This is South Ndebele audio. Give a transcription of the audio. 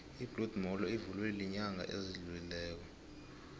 ibloed molo ivulwe ilnyanga ezidlulileko